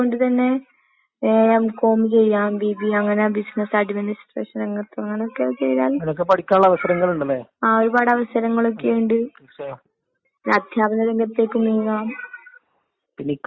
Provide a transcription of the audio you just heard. പഠിപ്പിന്റെ കാര്യത്തിലൊക്കെ വെച്ച്. ഇന്നത്തെ സാക്ഷര ലോകത്ത് വിദ്യാഭ്യാസത്തിന്റെ ആവശ്യം മനസ്സിലാക്കേണ്ട കാര്യം നമ്മളെന്നെയാണ് മനസ്സിലാക്കേണ്ടത്. നമ്മള് പിന്നെ പഠിച്ച് പഠിച്ച് വരുന്നുണ്ടല്ലോ വിദ്യാഭ്യാസത്തിന്റെ മൂല്യം എന്താണ്ന്നെല്ലാം നമ്മളെ പുസ്തകത്തില് പഠിക്ക്ന്ന്ണ്ട്.